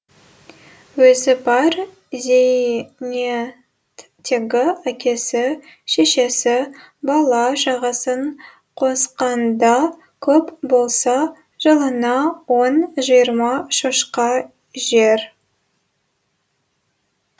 өзі бар зейнеттегі әкесі шешесі бала шағасын қосқанда көп болса жылына он жиырма шошқа жер